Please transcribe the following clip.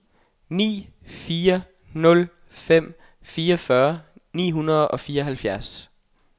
ni fire nul fem fireogfyrre ni hundrede og fireoghalvfjerds